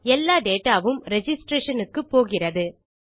எல்லா டேட்டா வும் ரிஜிஸ்ட்ரேஷன் க்கு போகிறது